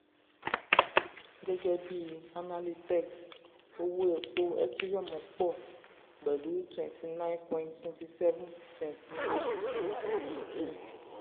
gẹ́gẹ́ bí analytex owó epo ethereum pọ̀ pẹ̀lú ethereum pọ̀ pẹ̀lú 29.27 percent ní oṣù kìnní 2023.